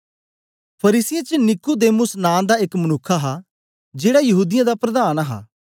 फरीसियें च नीकुदेमुस नां दा एक मनुक्ख हा जेड़ा यहूदीयें दा प्रधान हा